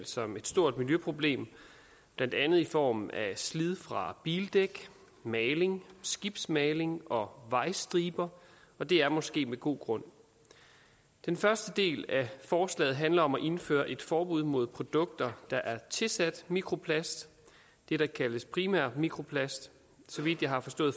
som et stort miljøproblem blandt andet i form af slid fra bildæk maling skibsmaling og vejstriber og det er måske med god grund den første del af forslaget handler om at indføre et forbud mod produkter der er tilsat mikroplast det der kaldes primær mikroplast så vidt jeg har forstået